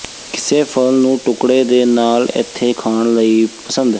ਕਿਸੇ ਫਲ ਨੂੰ ਟੁਕੜੇ ਦੇ ਨਾਲ ਏਥੇ ਖਾਣ ਲਈ ਪਸੰਦ